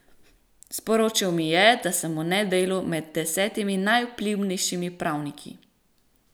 Sporočil mi je, da sem v Nedelu med desetimi najvplivnejšimi pravniki.